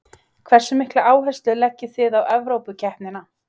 Hversu mikla áherslu leggið þið á Evrópukeppnina?